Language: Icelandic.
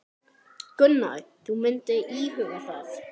Gunnar: Þú myndir íhuga það?